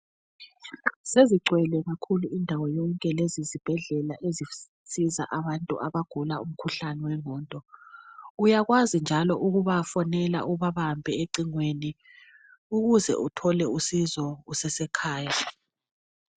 Sezigcwele kakhulu indawo yonke izibhedlela ezisiza abantu abagula umkhuhlane wengqondo. Uyakwazi njalo ukubafonela ubabambe ecingweni ukuze uthole usizo usasekhaya.